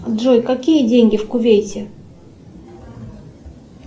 джой какие деньги в кувейте